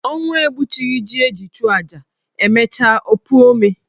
Ọnwụ egbuchughi ji eji chụọ aja, e mecha o puo ome.